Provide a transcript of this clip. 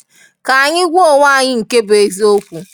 Ka anyị gwa onwe anyị nke bụ eziokwu.